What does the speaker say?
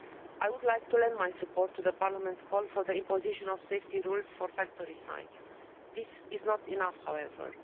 I would like to lend my support to Parliament's call for the imposition of safety rules for factory sites. This is not enough however.